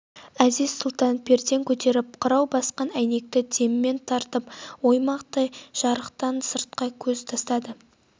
әзиз-сұлтан перден көтеріп қырау басқан әйнекті деммен ертіп оймақтай жарықтан сыртқа көз тастады